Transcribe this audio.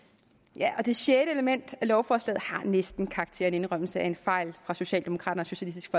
ja og det sjette element af lovforslaget har næsten karakter af en indrømmelse af en fejl fra socialdemokraterne og socialistisk